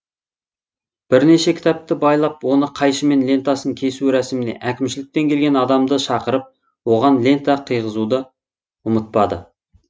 бірнеше кітапты байлап оны қайшымен лентасын кесу рәсіміне әкімшіліктен келген адамды шақырып соған лента қыйғызуды ұмытпады